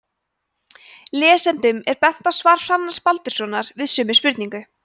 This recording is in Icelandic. lesendum er bent á svar hrannars baldurssonar við sömu spurningu